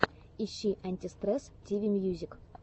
ищи антистресс тиви мьюзик